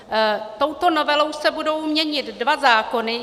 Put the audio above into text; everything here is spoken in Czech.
Touto novelou se budou měnit dva zákony.